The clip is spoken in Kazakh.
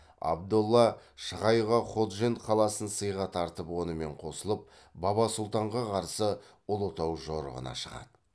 абдолла шығайға ходжент қаласын сыйға тартып онымен қосылып баба сұлтанға қарсы ұлытау жорығына шығады